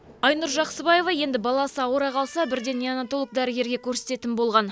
айнұр жақсыбаева енді баласы ауыра қалса бірден неанотолог дәрігерге көрсететін болған